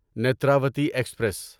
Netravati express